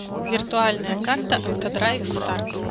виртуальная карта автодрайв старт